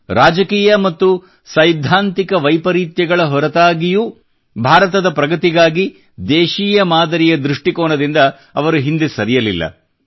ಗಂಭೀರ ರಾಜಕೀಯ ಮತ್ತು ಸೈದ್ಧಾಂತಿಕ ವೈಪರೀತ್ಯಗಳ ಹೊರತಾಗಿಯೂ ಭಾರತದ ಪ್ರಗತಿಗಾಗಿ ದೇಶೀಯ ಮಾದರಿಯ ದೃಷ್ಟಿಕೋನದಿಂದ ಅವರು ಹಿಂದೆ ಸರಿಯಲಿಲ್ಲ